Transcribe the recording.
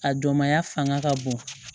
A dɔnmaya fanga ka bon